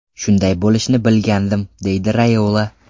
Shunday bo‘lishini bilgandim”, deydi Rayola.